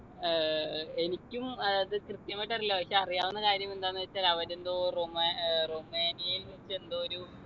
ഏർ എനിക്കും ഏർ അത് കൃത്യമായിട്ടറീല പക്ഷെ അറിയാവുന്ന കാര്യം എന്താന്ന് വെച്ചാൽ അവരെന്തോ റൊമാ ഏർ റൊമേനിയയിൽ വച്ച് എന്തോ ഒരു